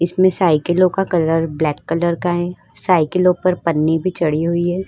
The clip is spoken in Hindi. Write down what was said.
इसमें साइकिलों का कलर ब्लैक कलर का है साइिकलों पर पन्नी भी चढ़ी हुई है।